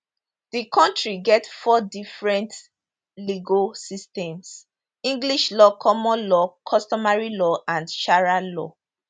di kontri get four different legal systems english law common law customary law and sharia law